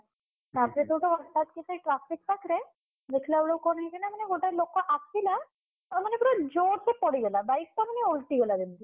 ତାପରେ ସେଇଠୁ ହଠାତ୍ ସେଇ traffic ପାଖରେ, ଦେଖିଲାବେଳକୁ କଣ ହେଇଛିନା ମାନେ ଗୋଟେ ଲୋକ ଆସିଲା। ତା ମାନେ ପୁରା ଜୋରସେ ପଡିଗଲା bike ଟା ମାନେ ଓଲଟିଗଲା ଯେମିତି।